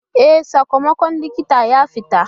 E, sakamakon likita ya fita.